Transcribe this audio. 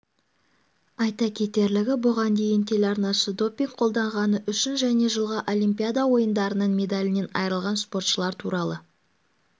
айта кетерлігі бұған дейін телеарнасы допинг қолданғаны үшін және жылғы олимпиада ойындарының медалінен айырылған спортшылар туралы